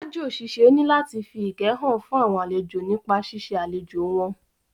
Aájò ṣiṣẹ́ ní láti fi ìkẹ́ hàn fún àwọn àlejò nípa ṣíṣe àlejò wọn